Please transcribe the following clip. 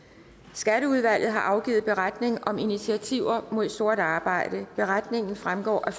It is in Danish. skatteudvalget har afgivet beretning om initiativer mod sort arbejde beretningen vil fremgå af